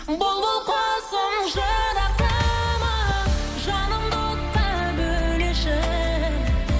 бұлбұл құсым жырақтама жанымды отқа бөлеші